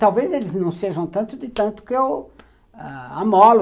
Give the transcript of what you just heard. Talvez eles não sejam tanto de tanto que eu amolo.